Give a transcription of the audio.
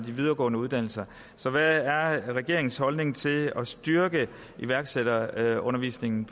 videregående uddannelser så hvad er regeringens holdning til at styrke iværksætterundervisningen